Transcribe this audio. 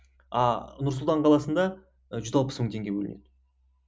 ааа нұр сұлтан қаласында ы жүз алпыс мың теңге бөлінеді